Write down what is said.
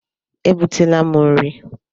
E butela m nri.